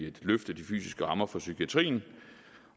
et løft af de fysiske rammer for psykiatrien